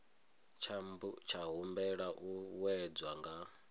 tsha humbela u wedzwa nga